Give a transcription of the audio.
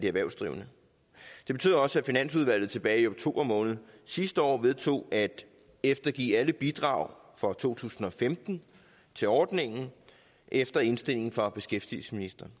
erhvervsdrivende det betød også at finansudvalget tilbage i oktober måned sidste år vedtog at eftergive alle bidrag for to tusind og femten til ordningen efter indstilling fra beskæftigelsesministeren